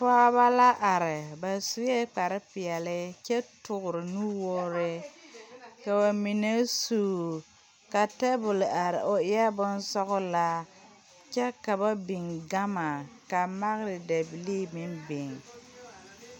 Pɔɔbɔ la are ba suee kparepeɛle kyɛ toore nuwoore ka ba mine suu ka tabole are o eɛɛ bonsɔglaa kyɛ ka ba biŋ gama ka magre dabilii meŋ biŋ.